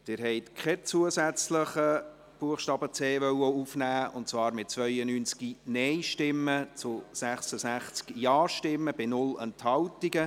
Sie wollen keinen zusätzlichen Buchstaben c aufnehmen, und zwar mit 82 Nein- gegen 66 JaStimmen bei 0 Enthaltungen.